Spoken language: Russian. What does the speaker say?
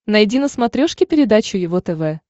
найди на смотрешке передачу его тв